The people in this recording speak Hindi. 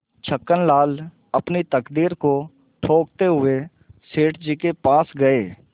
छक्कनलाल अपनी तकदीर को ठोंकते हुए सेठ जी के पास गये